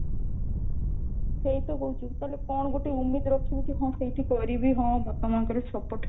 ସେଇତ କହୁଛୁ ତାହେଲେ କଣ ଗୋଟେ उमीद ରଖିବୁ କି ହଁ ସେଇଠି କରିବି ହଁ ବାପା ମାଆଙ୍କର support